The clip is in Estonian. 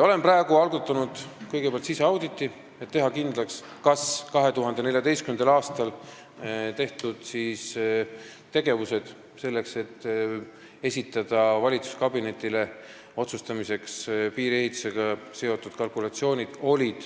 Olen algatanud siseauditi, et teha kindlaks, kas 2014. aastal toimunud tegevused selleks, et esitada valitsuskabinetile otsustamiseks piiriehitusega seotud kalkulatsioonid, olid